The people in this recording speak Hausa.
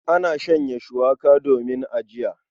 Ana shanya shuwaka domin ajiya.